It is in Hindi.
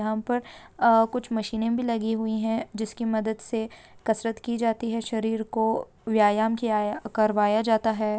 यहाँ पर अ कुछ मशीने भी लगी हुई है जिसकी मदद से कसरत की जाती है शरीर को व्यायाम किया करवाया जाता है।